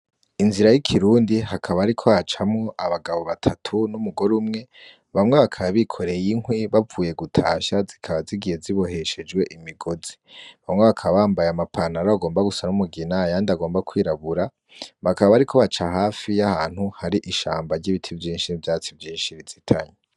Inzira y'ikirundi hakaba, ariko hacamwo abagabo batatu n'umugore umwe bamwe bakaba bikoreye inkwi bavuye gutasha zikaba zigiye ziboheshejwe imigozi bamwe bakabambaye amapanara bagomba gusa n'umugina yandi agomba kwirabura bakaba bari ko baca hafi y'ahantu hari ishamba ry'ibiti vyinshi n'vyatsi vyinshi rizitanyu.